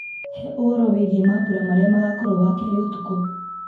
he ũhoro wĩgiĩ mambura marĩa magakorwo wakerĩ ũtukũ